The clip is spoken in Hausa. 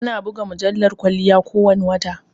Ana buga mujallar kwalliya ko wane wata